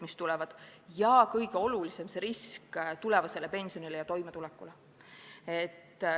Mis kõige olulisem: ohtu seatakse tulevased pensionid ja inimeste toimetulek.